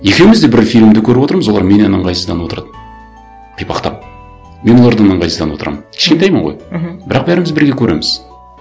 екеуіміз де бір фильмді көріп отырмыз олар менен ыңғайсызданып отырады қипақтап мен олардан ыңғайсызданып отырамын кішкентаймын ғой мхм бірақ бәріміз бірге көреміз